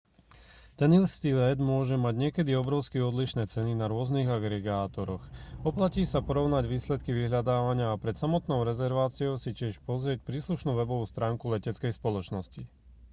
ten istý let môže mať niekedy obrovsky odlišné ceny na rôznych agregátoroch oplatí sa porovnať výsledky vyhľadávania a pred samotnou rezerváciou si tiež pozrieť príslušnú webovú stránku leteckej spoločnosti